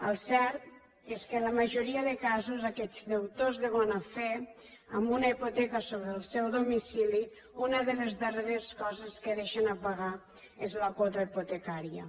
el cert és que en la majoria de casos aquests deutors de bona fe amb una hipoteca sobre el seu domicili una de les darreres coses que deixen de pagar és la quota hipotecària